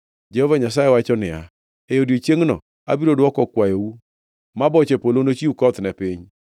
Jehova Nyasaye wacho niya, “E odiechiengno abiro dwoko kwayou ma boche polo, nochiw koth ne piny,